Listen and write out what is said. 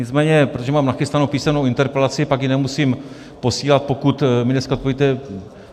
Nicméně protože mám nachystanou písemnou interpelaci, pak ji nemusím posílat, pokud mi dneska odpovíte.